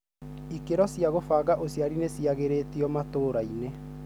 ikĩro cia gũbanga ũciari nĩ ciagĩrĩtio matũraĩnĩ